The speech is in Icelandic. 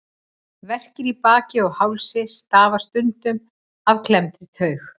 Verkir í baki og hálsi stafa stundum af klemmdri taug.